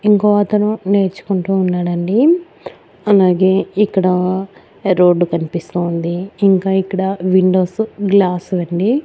ఇంకో అతను నేర్చుకుంటూఉన్నాడండి అలాగే ఇక్కడా రోడ్డు కనిపిస్తూ ఉంది ఇంకా ఇక్కడ విండోస్ గ్లాసు అండి.